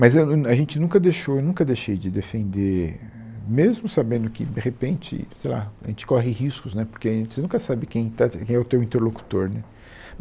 Mas eu a gente nunca deixou, eu nunca deixei de defender, mesmo sabendo que, de repente, sei lá, a gente corre riscos né, porque você nunca sabe quem está quem é o teu interlocutor né.